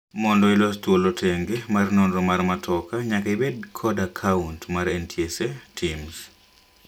Mondo ilos thuolo tenge mar nonro mar matoka nyaka ibed kod akant mar NTSA TIMS